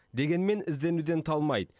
дегенмен ізденуден талмайды